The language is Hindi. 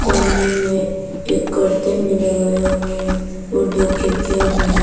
इस रूम में एक कर्टेन भी लगाया हुआ है और दो खिड़कियां भी है।